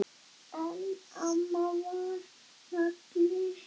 En amma var nagli.